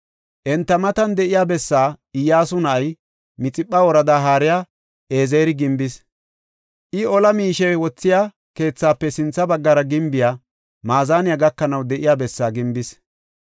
Enta matan de7iya bessaa Iyyasu na7ay, Mixipha woradaa haariya Ezeri gimbis. I ola miishe wothiya keethaafe sintha baggara gimbiya maazaniya gakanaw de7iya bessa gimbis.